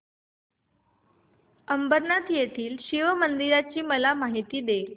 अंबरनाथ येथील शिवमंदिराची मला माहिती दे